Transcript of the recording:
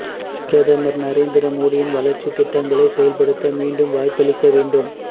பிரதமர் நரேந்திர மோடியின் வளர்ச்சித் திட்டங்களைச் செயல்படுத்த மீண்டும் வாய்ப்பளிக்க வேண்டும்